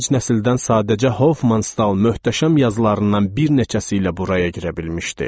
Gənc nəsildən sadəcə Hofmannstal möhtəşəm yazılarından bir neçəsi ilə buraya girə bilmişdi.